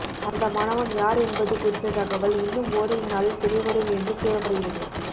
அந்த மாணவன் யார் என்பது குறித்த தகவல் இன்னும் ஓரிரு நாளில் தெரியவரும் என்று கூறப்படுகிறது